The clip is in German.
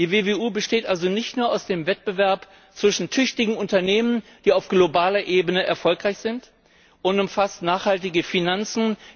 Die WWU besteht also nicht nur aus dem Wettbewerb zwischen tüchtigen Unternehmen, die auf globaler Ebene erfolgreich sind, und umfasst nachhaltige Finanzen.